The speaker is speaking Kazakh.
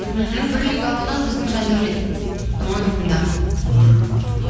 мхм бірлік ауылынан біздің жандаурен мойынқұмдағы ммм